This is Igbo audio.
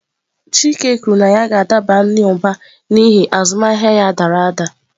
Chike kwuru na ya ga-adaba n'ụba n'ihi azụmahịa ya dara ada.